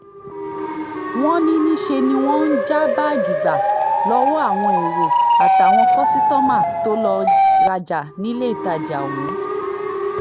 wọ́n ní níṣẹ́ ni wọ́n ń já báàgì gbà lọ́wọ́ àwọn èrò àtàwọn kọ́sítọ́mà tó lọ́ọ́ rajà níléetajà ọ̀hún